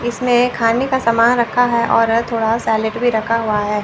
इसमें खाने का सामान रखा है और थोड़ा सेलिड भी रखा हुआ है।